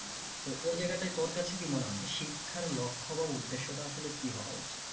ওই জায়গাটায় তোর কাছে কি মনে হয়? যে শিক্ষার লক্ষ্য বা উদেশ্যটা আসলে কি হাওয়া উচিত?